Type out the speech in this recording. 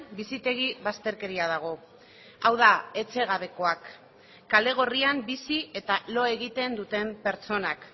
bizitegi bazterkeria dago hau da etxegabekoak kale gorrian bizi eta lo egiten duten pertsonak